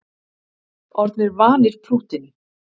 Orðnir vanir prúttinu